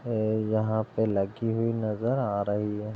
ये यहां पर लड़कियों की नजर आ रही है।